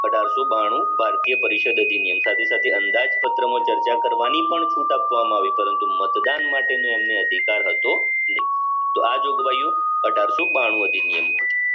અઢારસો બનું ભારતીય પરિષદ અધિનિયમ સાથે સાથે અંદાજ પત્રમાં ચર્ચા કરવાની પણ છૂટ આપવામાં આવી પરંતુ મતદાન માટે ની એમને અધિકાર હતો નાઈ તો આ જોગવાઈઓ અઢારસો બાણું અધિનિયમો